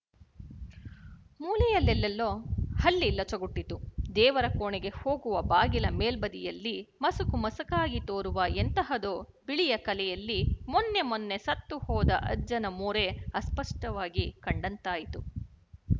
ಮೂಲೆಯಲ್ಲೆಲ್ಲೋ ಹಲ್ಲಿ ಲೊಚಗುಟ್ಟಿತು ದೇವರ ಕೋಣೆಗೆ ಹೋಗುವ ಬಾಗಿಲ ಮೇಲ್ಬದಿಯಲ್ಲಿ ಮಸುಕುಮಸುಕಾಗಿ ತೋರುವ ಎಂತಹದೋ ಬಿಳಿಯ ಕಲೆಯಲ್ಲಿ ಮೊನ್ನೆ ಮೊನ್ನೆ ಸತ್ತುಹೋದ ಅಜ್ಜನ ಮೋರೆ ಅಸ್ಪಷ್ಟವಾಗಿ ಕಂಡಂತಾಯಿತು